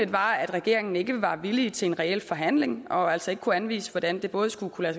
var at regeringen ikke var villig til en reel forhandling og altså ikke kunne anvise hvordan det både skulle kunne